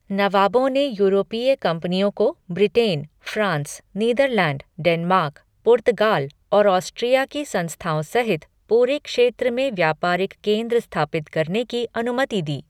नवाबों ने यूरोपीय कंपनियों को Britain, France, Netherland, Denmark, Portugal और ऑस्ट्रिया की संस्थाओं सहित पूरे क्षेत्र में व्यापारिक केंद्र स्थापित करने की अनुमति दी।